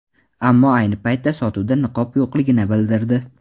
Ammo ayni paytda sotuvda niqob yo‘qligini bildirdi.